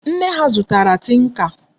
Nne ha zutara tinka.